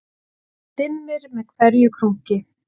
Það dimmir með hverju krunki